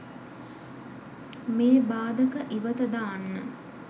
මේ භාධක ඉවත දාන්න